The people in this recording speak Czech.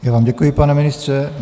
Já vám děkuji, pane ministře.